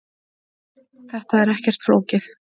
Þetta er ekkert flókið.